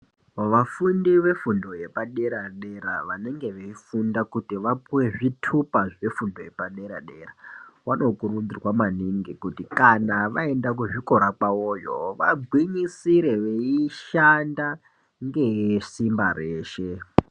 Vafundi vefundo yepadera -dera vange veifunda kuti vapuve zvitupa zvefundo yepadera-dera. Vanokurudzirwa maningi kuti kana vaenda kuzvikora kwavoyo vagwinyisire veishanda ngesimba reshe.